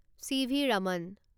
CV. Raman